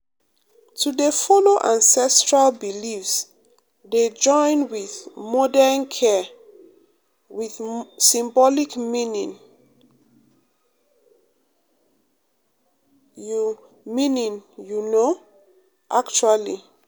to dey follow ancestral beliefs dey um join with um modern care with symbolic meaning you meaning you know um actually